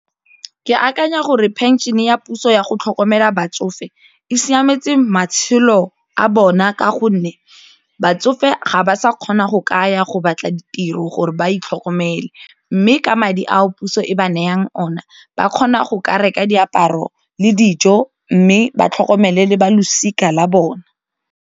Ke akanya gore phenšhene ya puso ya go tlhokomela batsofe, e siametse matshelo a bona ka gonne batsofe ga ba sa kgona go ka ya go batla tiro gore ba itlhokomele, mme ka madi a o puso e ba nayang ona ba kgona go ka reka diaparo le dijo mme ba tlhokomele le ba losika la bona.